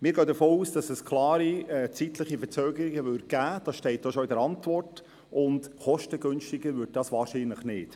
Wir gehen davon aus, dass es klare zeitliche Verzögerungen geben würde, so wie es in der Antwort des Regierungsrates zu lesen ist, und kostengünstiger würde es wahrscheinlich nicht.